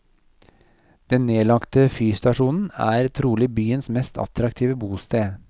Den nedlagte fyrstasjonen er trolig byens mest attraktive bosted.